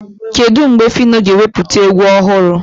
Kedụ mgbe Fino ga-ewepụta egwu ọhụrụ?